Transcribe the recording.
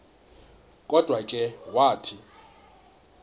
kodwa ke wathi